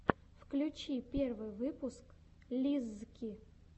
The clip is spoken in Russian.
включи первый выпуск лиззки